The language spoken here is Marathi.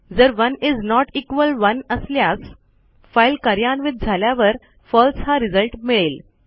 जर1 इस नोट इक्वॉल 1असल्यास फाईल कार्यान्वित झाल्यावर फळसे हा रिझल्ट मिळेल